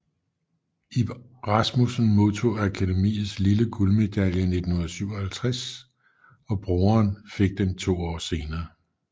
Ib Rasmussen modtog Akademiets lille guldmedalje 1957 og broderen fik den to år senere